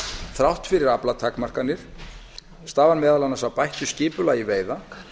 þrátt fyrir aflatakmarkanir koma meðal annars til af bættu skipulagi veiða